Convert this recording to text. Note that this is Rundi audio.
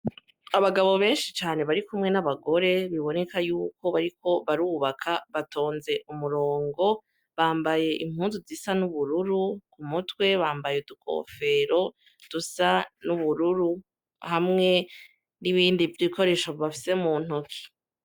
Abagabo benshi cane barikumwe n'abagore biboneka yuko bariko barubaka batonze umurongo bambaye impuzu zisa n'ubururu ku mutwe bambaye udukofero dusa n'ubururu hamwe n'ibindi bikoresho bafise mu ntoki.